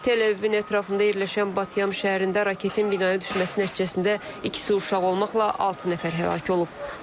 Tel-Əvivin ətrafında yerləşən Batyam şəhərində raketin binaya düşməsi nəticəsində ikisi uşaq olmaqla altı nəfər həlak olub.